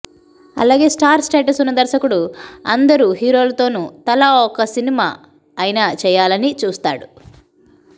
అలాగే star status ఉన్న దర్శకుడు అందరు హీరోలతోను తలా ఒక సినిమా అయినా చేయాలని చూస్తాడు